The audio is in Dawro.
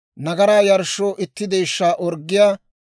nagaraa yarshshoo itti deeshshaa orggiyaa;